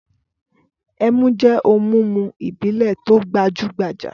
Ẹmu jẹ́ ohun-mímu ìbílẹ̀ tó gbajú-gbajà.